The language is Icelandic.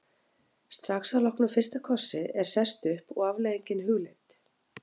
Strax að loknum fyrsta kossi er sest upp og afleiðingin hugleidd.